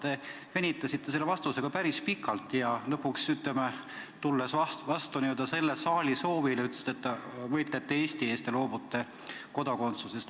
Te venitasite selle vastusega päris pikalt ja lõpuks, tulles vastu n-ö selle saali soovile, ütlesite, et võitlete Eesti eest ja loobute Rootsi kodakondsusest.